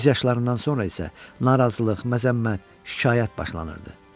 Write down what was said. Göz yaşlarından sonra isə narazılıq, məzəmmət, şikayət başlanırdı.